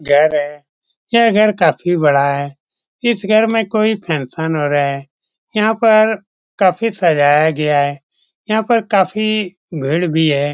घर है यह घर काफी बड़ा है इस घर में कोई फंक्शन हो रहा है यहाँ पर काफी सजाया गया है यहाँ पर काफी भीड़ भी है।